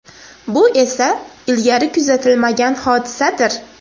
Bu esa ilgari kuzatilmagan hodisadir.